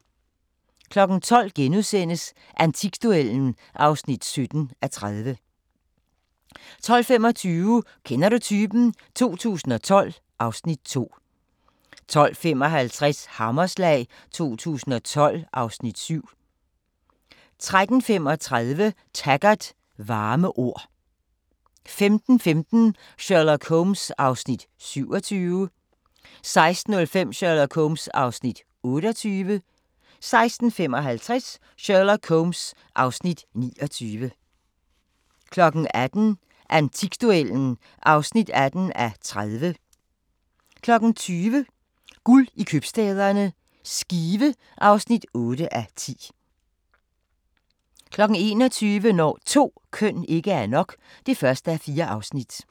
12:00: Antikduellen (17:30)* 12:25: Kender du typen? 2012 (Afs. 2) 12:55: Hammerslag 2012 (Afs. 7) 13:35: Taggart: Varme ord 15:15: Sherlock Holmes (Afs. 27) 16:05: Sherlock Holmes (Afs. 28) 16:55: Sherlock Holmes (Afs. 29) 18:00: Antikduellen (18:30) 20:00: Guld i købstæderne – Skive (8:10) 21:00: Når 2 køn ikke er nok (1:4)